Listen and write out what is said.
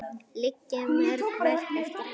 Liggja mörg verk eftir hann.